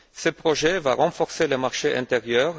Ce projet va renforcer le marché intérieur.